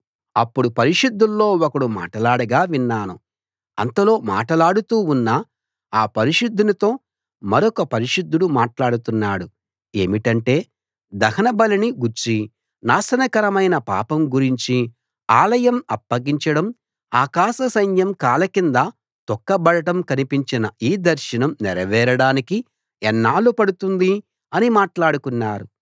అప్పుడు పరిశుద్ధుల్లో ఒకడు మాటలాడగా విన్నాను అంతలో మాట్లాడుతూ ఉన్న ఆ పరిశుద్ధునితో మరొక పరిశుద్ధుడు మాట్లాడుతున్నాడు ఏమిటంటే దహన బలిని గూర్చి నాశనకారకమైన పాపం గురించి ఆలయం అప్పగించడం ఆకాశ సైన్యం కాలి కింద తొక్క బడడం కనిపించిన ఈ దర్శనం నెరవేరడానికి ఎన్నాళ్లు పడుతుంది అని మాట్లాడుకున్నారు